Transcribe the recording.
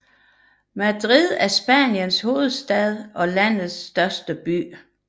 Madrid er Spaniens hovedstad og landets største by